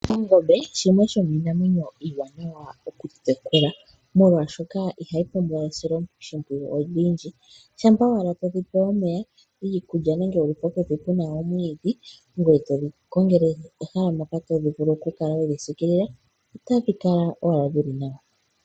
Ongombe shimwe shomiinamwenyo iiwanawa okutekula molwaashoka ihayi pumbiwa esiloshimpwiyu olindji, shampa owala todhi pe omeya iikulya nenge wu lithe mpoka puna omwiidhi ngoye todhi kongele ehala mpoka todhi vulu oku kala hodhi siikilile, otadhi kala owala dhili nawa.